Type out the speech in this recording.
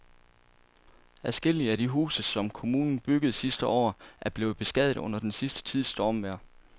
Adskillige af de huse, som kommunen byggede sidste år, er blevet beskadiget under den sidste tids stormvejr.